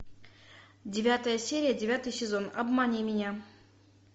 девятая серия девятый сезон обмани меня